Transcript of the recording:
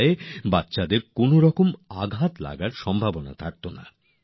ফলে সেগুলি দিয়ে শিশুদের কোনভাবেই আঘাত পাওয়ার ভয় থাকত না